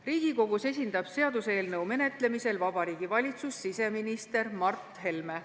Riigikogus esindab seaduseelnõu menetlemisel Vabariigi Valitsust siseminister Mart Helme.